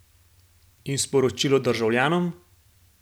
In sporočilo državljanom?